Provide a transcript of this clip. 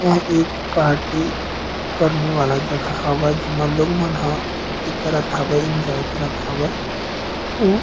यह एक पार्टी करने वाला जगह हवय जेमा लोग मन ह पार्टी करत हवय एन्जॉय करत हवय अऊ--